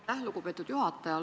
Aitäh, lugupeetud juhataja!